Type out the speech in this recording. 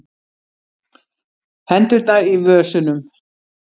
Hendurnar í vösunum.